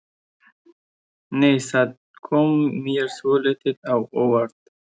Nei! Það kom mér svolítið á óvart!